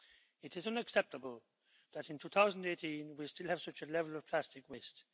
It is unacceptable that in 2018, we still have such a level of plastic waste.